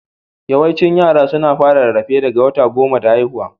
Yawaicin yara suna fara rarrafe daga wata goma da haihuwa.